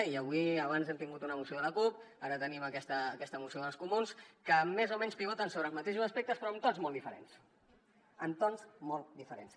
i avui abans hem tingut una moció de la cup ara tenim aquesta moció dels comuns que més o menys pivoten sobre els mateixos aspectes però en tons molt diferents en tons molt diferents